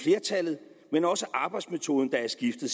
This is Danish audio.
flertallet men også arbejdsmetoden der er skiftet